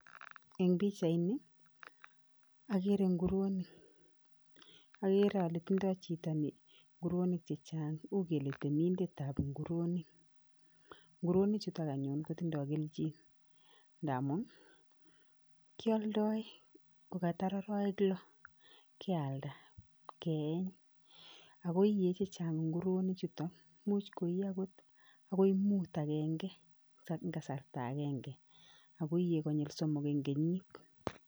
agere nguruonik agere ale tinye chito ni nguruonik chechang uu gele temindetab nguruonik ,nguruonik chuto kotinye geljin amu kialdoi gogatar arawek loo, gealnda geeny akoiiye chechang nguruonik chuto muchh koii angot agoi muut eng gasarta agenge agoiiye gonyil somok eng kenyit